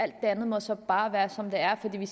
det andet så bare må være som det er fordi vi